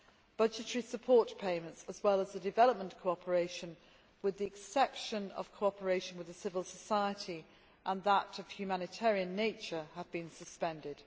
Budgetary support payments, as well as development cooperation with the exception of cooperation with the civil society and that of a humanitarian nature have been suspended.